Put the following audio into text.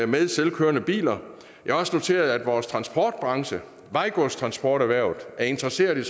med selvkørende biler jeg har også noteret at vores transportbranche vejgodstransporterhvervet er interesseret i